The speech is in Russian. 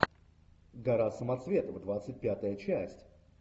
гора самоцветов двадцать пятая часть